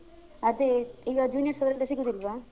ಅದೇ ಈಗ juniors ಅವರೆಲ್ಲ ಸಿಗುದಿಲ್ವ?